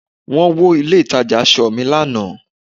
wón wo ilé ìtajà asọ ni Ana